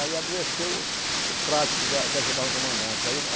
Aí adoeceu o prático da que ajudava o comandante. aí o